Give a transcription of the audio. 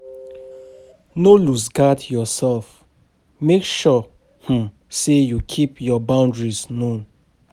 No loose guard your self, make sure um sey you keep your boundaries known